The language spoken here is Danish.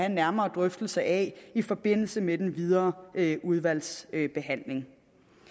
en nærmere drøftelse af i forbindelse med den videre udvalgsbehandling